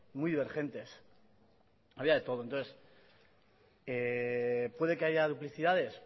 muy divergentes había de todo puede que haya duplicidades